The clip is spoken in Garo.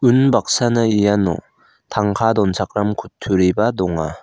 unbaksana iano tangka donchakram kutturiba donga.